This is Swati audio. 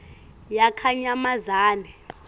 yakanyamazane